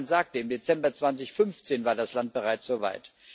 Die Kommissarin sagte, im Dezember 2015 war das Land bereits so weit.